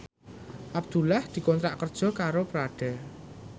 Abdullah dikontrak kerja karo Prada